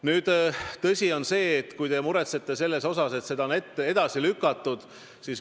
Nüüd, te muretsete selle pärast, et seda rahaeraldust on edasi lükatud.